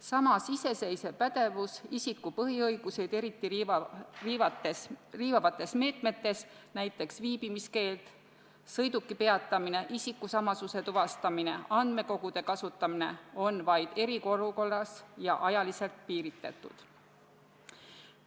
Samas, iseseisev pädevus isiku põhiõigusi eriti riivavates meetmetes – näiteks viibimiskeelu kohaldamine, sõiduki peatamine, isikusamasuse tuvastamine, andmekogude kasutamine – kehtib vaid eriolukorras ja on ajaliselt piiritletud.